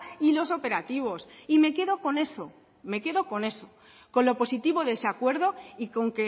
y los operativos y me quedo con eso me quedo con eso con lo positivo de ese acuerdo y con